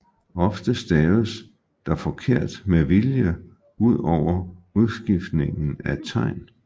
Ofte staves der forkert med vilje ud over udskiftningen af tegn